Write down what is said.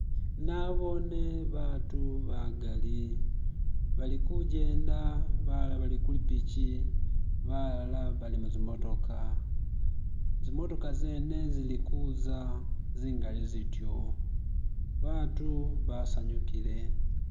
Nabone abantu bagali balikujenda balala balikupiki balala bali muzimotoka. Zimotoka zene zilikuza zingali zityo, abantu basanyukile